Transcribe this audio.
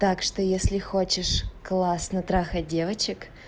так что если хочешь классно трахать девочек